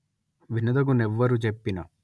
వినదగు నెవ్వరు జెప్పిన